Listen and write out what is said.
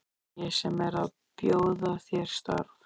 Ég sem er að bjóða þér starf!